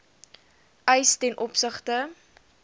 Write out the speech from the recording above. eis ten opsigte